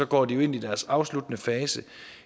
går de jo ind i deres afsluttende fase